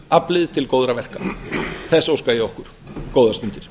samstöðuaflið til góðra verka þess óska ég okkur góðar stundir